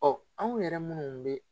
Ɔ anw yɛrɛ munnu be